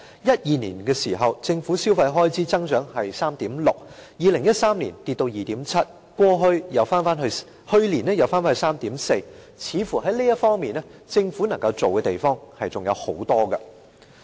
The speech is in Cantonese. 在2012年，政府的消費開支增長是 3.6%，2013 年跌至 2.7%， 去年又回升至 3.4%， 似乎政府在這方面能夠做的還有很多。